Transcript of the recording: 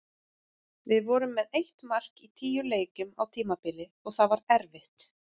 Við vorum með eitt mark í tíu leikjum á tímabili og það var erfitt.